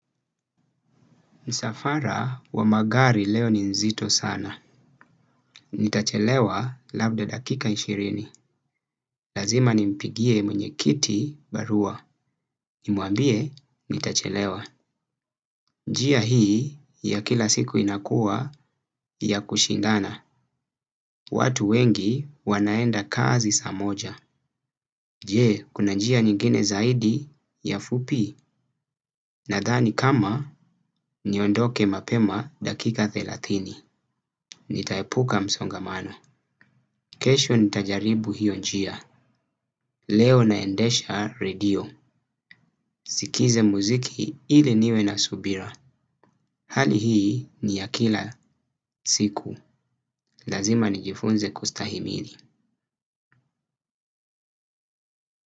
Msafara wa magari leo ni nzito sana. Nitachelewa labda dakika ishirini. Lazima nimpigie mwenyekiti barua. Nimwambie nitachelewa. Njia hii ya kila siku inakuwa ya kushindana. Watu wengi wanaenda kazi saa moja. Je, kuna njia nyingine zaidi ya fupi. Nadhani kama niondoke mapema dakika thelathini. Nitaepuka msongamano. Kesho nitajaribu hiyo njia. Leo naendesha radio. Sikilize muziki ili niwe na subira. Hali hii ni ya kila siku. Lazima nijifunze kustahimili.